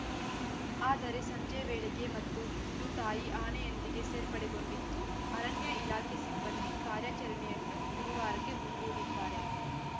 ಆದರೆ ಸಂಜೆ ವೇಳೆಗೆ ಮತ್ತೆ ಹಿಂಡು ತಾಯಿ ಆನೆಯೊಂದಿಗೆ ಸೇರ್ಪಡೆಗೊಂಡಿದ್ದು ಅರಣ್ಯ ಇಲಾಖೆ ಸಿಬ್ಬಂದಿ ಕಾರ್ಯಾಚರಣೆಯನ್ನು ಗುರುವಾರಕ್ಕೆ ಮುಂದೂಡಿದ್ದಾರೆ